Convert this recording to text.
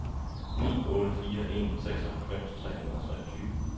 ni otte fire en seksoghalvfems tre hundrede og treogtyve